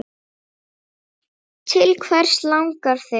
Til hvers langar þig?